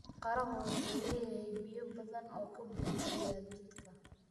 Qarahu wuxuu leeyahay biyo badan oo ka burburiya jidhka.